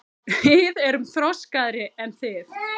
Við erum þroskaðri en þið.